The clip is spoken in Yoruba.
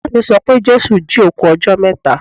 Ìyáà mi sọ pé Jésù jí òkú ọjọ́ mẹ́ta.